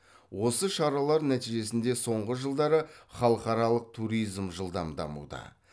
осы шаралар нәтижесінде соңғы жылдары халықаралық туризм жылдам дамуда